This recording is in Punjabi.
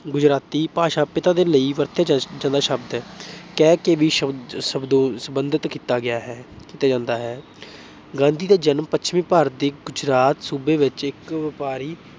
ਗੁਜਰਾਤੀ ਭਾਸ਼ਾ ਪਿਤਾ ਦੇ ਲਈ ਵਰਤਿਆ ਜਾਂਦਾ ਸ਼ਬਦ ਹੈ, ਕਹਿ ਕੇ ਵੀ ਸੰਬੋਧਿਤ ਕੀਤਾ ਜਾਂਦਾ ਹੈ। ਗਾਂਧੀ ਦਾ ਜਨਮ ਪੱਛਮੀ ਭਾਰਤ ਦੇ ਗੁਜਰਾਤ ਸੂਬੇ ਵਿੱਚ ਇੱਕ ਵਪਾਰੀ